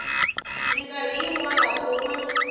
mikarhi yin wana u huma